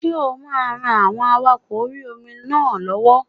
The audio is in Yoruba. Ṣé o máa ran àwọn awakọ̀ orí-omi náà lọ́wọ́?